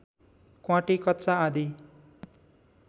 क्वाँटी कच्चा आदि